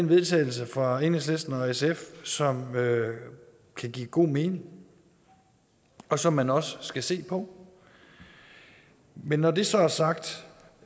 vedtagelse fra enhedslisten og sf som kan give god mening og som man også skal se på men når det så er sagt